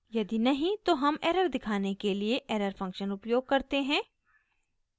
यदि नहीं तो हम एरर दिखाने के लिए एरर फंक्शन उपयोग करते हैं